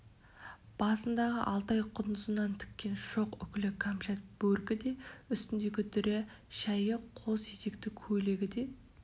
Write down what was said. басындағы алтай құндызынан тіккен шоқ үкілі камшат бөркі де үстіндегі дүрия шәйі қос етекті көйлегі де